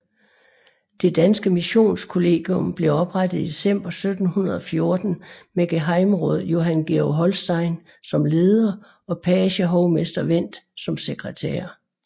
Det danske Missionskollegium blev oprettet i december 1714 med gehejmeråd Johan Georg Holstein som leder og pagehovmester Wendt som sekretær